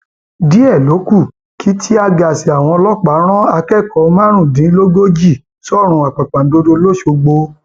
díẹ ló kù kí tíàgaàsì àwọn ọlọpàá rán akẹkọọ márùndínlógójì sọrùn àpàpàǹdodo lọsogbò